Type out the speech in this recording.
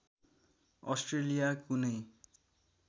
Australia कुनै